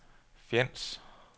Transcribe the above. Fjends